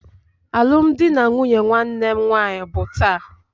Alụmdi na nwunye nwanne m nwanyị bụ taa.